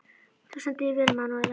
Þú stendur þig vel, Manúella!